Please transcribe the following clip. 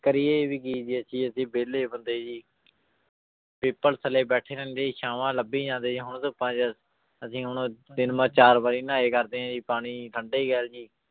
ਕਰੀਏ ਵੀ ਕੀ ਜੀ ਅਸੀਂ ਅਸੀਂ ਵਿਹਲੇ ਬੰਦੇ ਜੀ ਪਿੱਪਲ ਥੱਲੇ ਬੈਠੇ ਰਹਿੰਦੇ ਛਾਵਾਂ ਲੱਭੀ ਜਾਂਦੇ ਜੀ ਹੁਣ ਧੁੱਪਾਂ ਚ ਅਸੀਂ ਹੁਣ ਤਿੰਨ ਵ ਚਾਰ ਵਾਰੀ ਨਹਾਏ ਕਰਦੇ ਹਾਂ ਜੀ ਪਾਣੀ ਠੰਢੇ ਜੀ